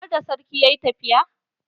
Harda sarki yayi tafiya?